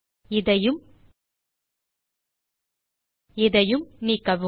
இதையும் இதையும் நீக்கவும்